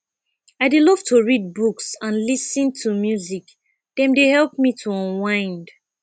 i dey love to read books and lis ten to music dem dey help me to unwind